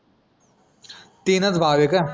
तीनच भाव आहे का?